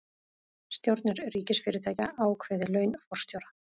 Stjórnir ríkisfyrirtækja ákveði laun forstjóra